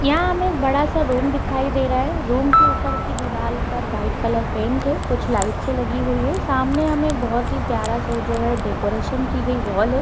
यहा पर हमें एक बड़ा सा रूम दिखायी दे रहा है रूम की ऊपर दीवाल पर वाइट कलर पेंट है कुछ लाइट्स लगी हुई है और सामने हमें बहुत ही प्यारा जो है सा डेकोरेशन की गई वाल है।